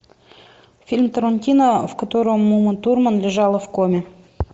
фильм тарантино в котором ума турман лежала в коме